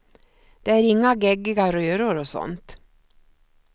Det är inga geggiga röror och sådant.